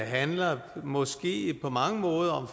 handler måske på mange måder